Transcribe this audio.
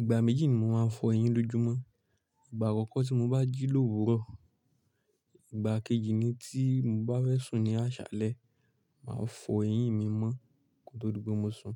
Ìgbà méjì ni mò ń fọ ẹyín lójúmọ́. Ìgbà akokọ́ tí mo bá jí lòwúrọ̀, ìgbà kejì ni tí mo bá fẹ̀ sùn ní àṣálẹ́, màá fọ ẹyín mi mọ́ ko tó di pé mo sùn.